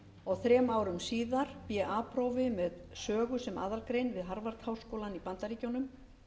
og þrem árum síðar ba prófi með sögu sem aðalgrein við harvard háskólann í bandaríkjunum